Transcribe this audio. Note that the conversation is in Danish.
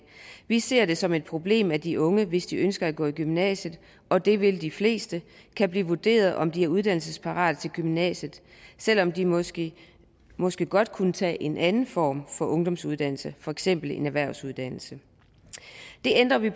vi ser det som et problem at de unge hvis de ønsker at gå i gymnasiet og det vil de fleste kan blive vurderet om de er uddannelsesparate til gymnasiet selv om de måske måske godt kunne tage en anden form for ungdomsuddannelse for eksempel en erhvervsuddannelse det ændrer vi